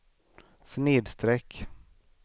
snedsträck